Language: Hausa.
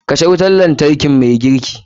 Kashe wutar lantarki mai girki.